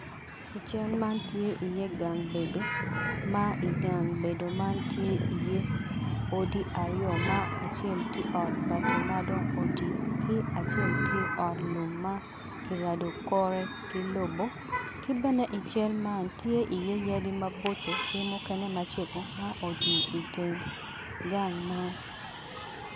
I cal man tye iye gang bedo ma i gang bedo man tye iye odi aryo ma acel tye ot bati madong otii ki acel tye ot lum ma ki rado kore ki lobo ki bene i cal man tye iye yadi maboco ma mukene macego ma otwii iteng gang man